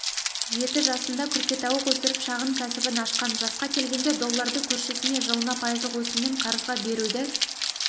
жеті жасында күркетауық өсіріп шағын кәсібін ашқан жасқа келгенде долларды көршісіне жылына пайыздық өсіммен қарызға беруді